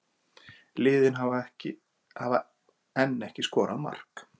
Liðin hafa enn ekki skorað mark